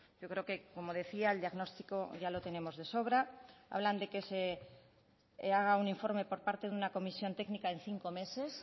yo creo que como decía el diagnóstico ya lo tenemos de sobra hablan de que se haga un informe por parte de una comisión técnica en cinco meses